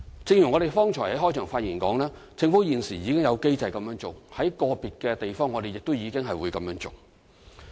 正如我剛才在開場發言所說，政府現時已有機制這樣做，在個別地方我們亦已這樣做。